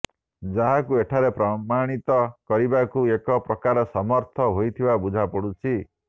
ଯାହାକୁ ଏଠାରେ ପ୍ରମାଣିତ କରିବାକୁ ଏକ ପ୍ରକାର ସମର୍ଥ ହୋଇଥିବା ବୁଝାପଡୁଛି